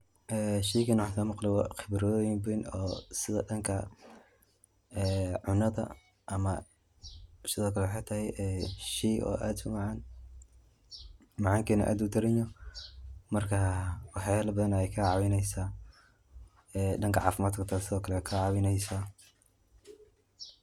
Sheygan waxan kamaqle khibroyin badan sida dhanka cunada, ama sidokale wexey tahay sheey aad umacan, macankedana aad udaranyoho marka waxyalla badan ayey kacawineysa, danka cafimadka xita wey kacawineysa.